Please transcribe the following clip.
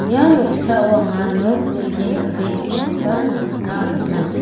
ia noksao anga nok bilding dal·begipakoba nikna man·a.